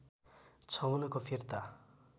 छ उनको फिर्ता